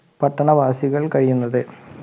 പട്ടണവാസികൾ കഴിയുന്നത്